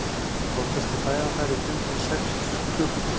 oftast er fæðan þar í fimm til sex klukkutíma